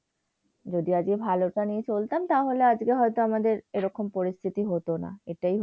যদি আজকে ভালোটা নিয়ে চলতাম তাহলে আজকে হয়তো আমাদের, এরকম পরিস্থিতি হত না। এটাই হচ্ছে